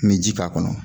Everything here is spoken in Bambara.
N bɛ ji k'a kɔnɔ